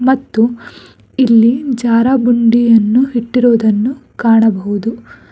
ಮತ್ತು ಇಲ್ಲಿ ಜಾರ ಬಂಡಿಯನ್ನು ಇಟ್ಟಿರುವುದನ್ನು ಕಾಣಬಹುದು.